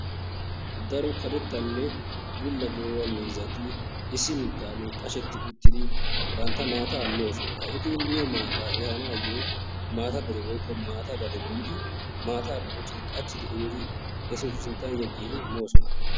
daro karetanne bulla de'iya miizzati bantta maata moososna. eti miyoo maata ehanayoo maata dere woykko maata gade biidi eta sinttan yeegin moosona.